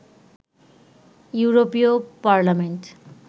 ইউরোপীয় পার্লামেন্ট